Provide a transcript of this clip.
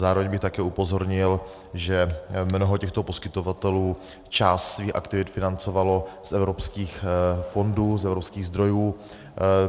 Zároveň bych také upozornil, že mnoho těchto poskytovatelů část svých aktivit financovalo z evropských fondů, z evropských zdrojů.